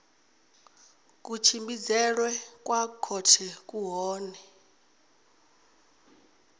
kutshimbidzelwe kwa khothe ku kone